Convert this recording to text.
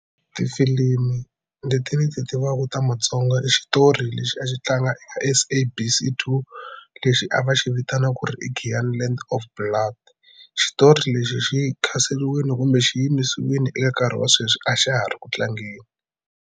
Tifilimu leti ni ti tivaka ta matsonga i xitori lexi a xi tlanga SABC 2 lexi a va xi vitanaka ku ri i Giyani Land of Blood. Xitori lexi xi khanseriwile kumbe xi yimisiwile eka nkarhi wa sweswi a xa ha ri ku tlangeni.